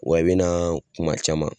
Wa i bɛ na kuma caman.